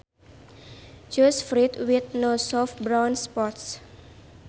Choose fruit with no soft brown spots